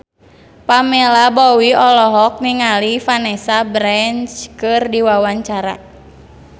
Pamela Bowie olohok ningali Vanessa Branch keur diwawancara